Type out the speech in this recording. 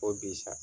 Ko bi sa